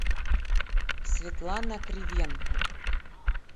светлана кривенко